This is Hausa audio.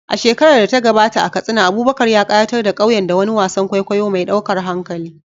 A shekarar da ta gabata, a Katsina, Abubakar ya ƙayatar da ƙauyen da wani wasan kwaikwayo mai ɗaukar hankali